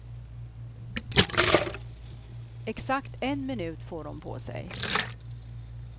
Exakt en minut får hon på sig.